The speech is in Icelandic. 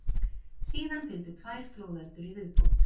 Síðan fylgdu tvær flóðöldur í viðbót.